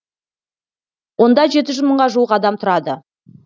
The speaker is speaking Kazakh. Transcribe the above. онда жеті жүз мыңға жуық адам тұрады